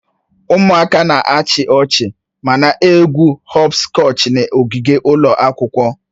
Ụmụaka na-achị ọchị ma na-egwu họpskọchi n'ogige ụlọ akwụkwọ